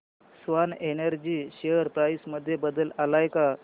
Swan Energy share price मध्ये बदल आलाय का